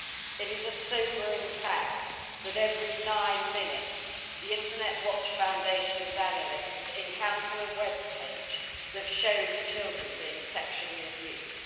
It is a sobering fact that every nine minutes the Internet Watch Foundation's analysts encounter a web page that shows children being sexually abused.